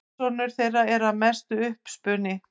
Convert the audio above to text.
Persónur þeirra eru að mestu uppspuni.